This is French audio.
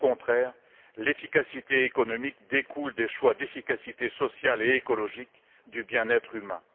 au contraire, l'efficacité économique découle des choix d'efficacité sociale et écologique du bien être humain.